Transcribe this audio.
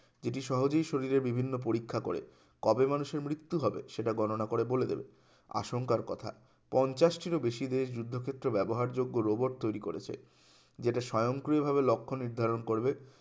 এটি সহজেই শরীরের বিভিন্ন পরীক্ষা করে কবে মানুষের মৃত্যু হবে গণনা করে বলে দেবে আশঙ্কার কথা পঞ্চাশটিরও বেশি দেশ যুদ্ধক্ষেত্রে ব্যবহার যোগ্য robot তৈরি করেছে যেটা স্বয়ংক্রিয়ভাবে লক্ষ্য নির্ধারণ করবে